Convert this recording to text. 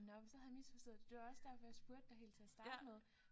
Nåh men så havde jeg misforstået det det var også derfor jeg spurgte dig helt til at starte med